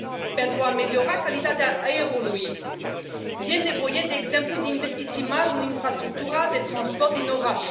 Pentru a ameliora calitatea aerului, e nevoie, de exemplu, de investiții mari în infrastructura de transport din oraș.